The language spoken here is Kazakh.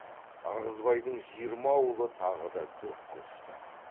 ырғызбайдың жиырма ауылы тағы да дүрк көшті